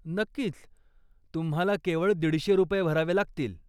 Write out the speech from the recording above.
नक्कीच, तुम्हाला केवळ दीडशे रुपये भरावे लागतील.